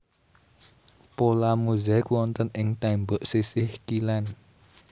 Pola mozaik wonten ing tembok sisih kilèn